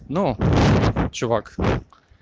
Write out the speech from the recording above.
ну чувак